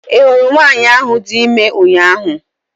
I hụrụ nwanyị ahụ dị ime ụnyaahụ?